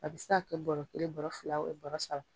A bi se ka kɛ bɔrɔ kelen bɔrɔ fila bɔrɔ saba.